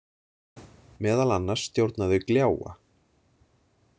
Meðal annars stjórna þau gljáa.